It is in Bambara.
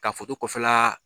Ka kɔfɛla